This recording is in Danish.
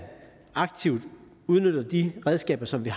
aktivt udnytter de redskaber som vi